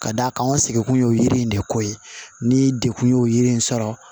Ka d'a kan an seginkun ye o yiri in de ko ye ni degun ye o yiri in sɔrɔ